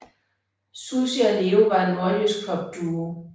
Sussi og Leo var en nordjysk popduo